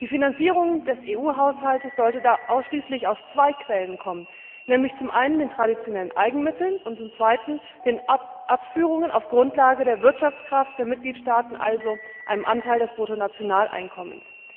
Die Finanzierung des EU Haushalts sollte ausschließlich aus zwei Quellen kommen, nämlich zum einen den traditionellen Eigenmitteln und zum zweiten den Abführungen auf der Grundlage der Wirtschaftskraft der Mitgliedstaaten, also einem Anteil des Bruttonationaleinkommens.